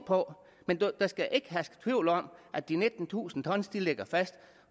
på men der skal ikke herske tvivl om at de nittentusind t ligger fast